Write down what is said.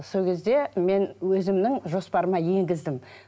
сол кезде мен өзімнің жоспарыма енгіздім